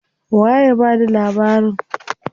Waye ya bada labarin?